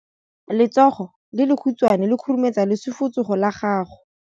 Letsogo le lekhutshwane le khurumetsa lesufutsogo la gago.